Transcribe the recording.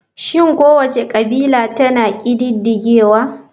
Shin kowace kabila tana ƙididdigewa?